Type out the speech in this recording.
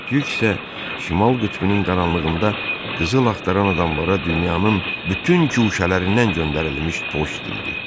Yük isə şimal qütbünün qaranlığında qızıl axtaran adamlara dünyanın bütün guşələrindən göndərilmiş poçt idi.